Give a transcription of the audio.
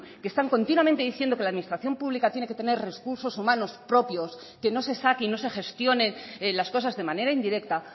que están continuamente diciendo que la administración pública tiene que tener recursos humanos propios que no se saque y no se gestionen las cosas de manera indirecta